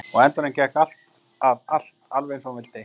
Og á endanum gekk alltaf allt alveg eins og hún vildi.